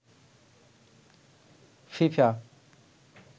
FIFA